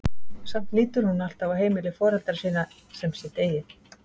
Samt lítur hún alltaf á heimili foreldra sinna sem sitt eigið.